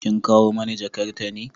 Kin kawo mani jakatar ne?